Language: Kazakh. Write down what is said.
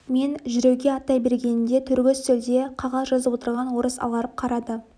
мен жүруге аттай бергенімде төргі үстелде қағаз жазып отырған орыс аларып қарады